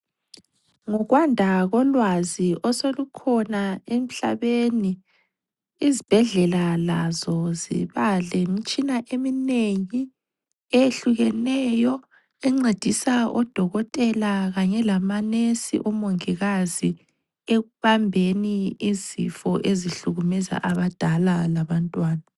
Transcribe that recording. Ngokwanda kolwazi osolukhona emhlabeni izibhedlela lazo ziba lemitshina eminengi eyehlukeneyo encedisa odokotela kanye lamanesi, omongikazi ekubambeni izifo ezihlukumeza abadala labantwana.